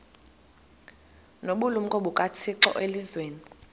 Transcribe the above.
nobulumko bukathixo elizwini